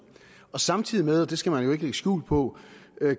samtidig med og det skal man jo ikke lægge skjul på